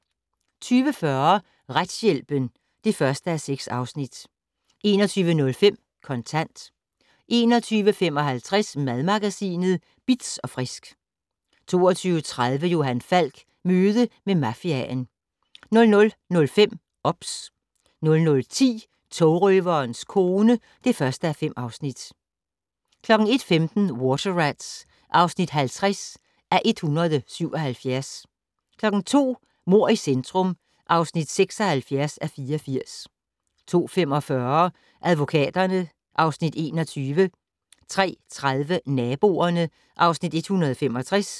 20:40: Retshjælpen (1:6) 21:05: Kontant 21:55: Madmagasinet Bitz & Frisk 22:30: Johan Falk: Møde med mafiaen 00:05: OBS 00:10: Togrøverens kone (1:5) 01:15: Water Rats (50:177) 02:00: Mord i centrum (76:84) 02:45: Advokaterne (Afs. 21) 03:30: Naboerne (Afs. 165)